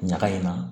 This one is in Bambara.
Ɲaga in na